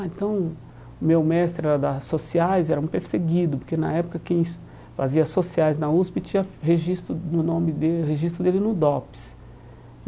Ah, então o meu mestre era da Sociais, era um perseguido, porque na época quem es fazia Sociais na USP tinha registro no nome dele, registro dele no DOPS.